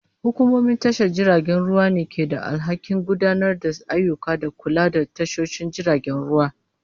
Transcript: Hukumomin tashar jiragen ruwa ne ke da alhakin gudanar da ayyuka da kula da tashoshin jiragen ruwa.